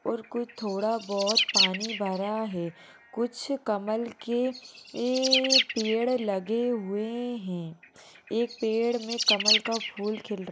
और कुछ थोड़ा बहुत पानी भरा है कुछ कमल के ये पेड़ लगे हुए हैं| एक पेड़ में कमल का फूल खिल--